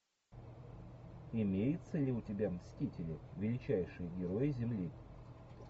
имеется ли у тебя мстители величайшие герои земли